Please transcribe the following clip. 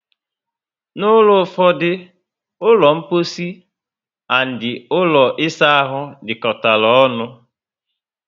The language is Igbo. N'ulo ụfọdụ, ulo mposi and ụlọ isa ahụ dikotara ọṅụ